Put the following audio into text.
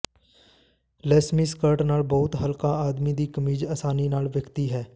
ਲੇਸਮੀ skirt ਨਾਲ ਬਹੁਤ ਹਲਕਾ ਆਦਮੀ ਦੀ ਕਮੀਜ਼ ਆਸਾਨੀ ਨਾਲ ਵੇਖਦੀ ਹੈ